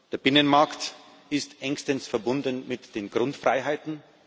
Der Binnenmarkt ist engstens verbunden mit den Grundfreiheiten.